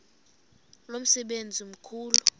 lo msebenzi mkhulu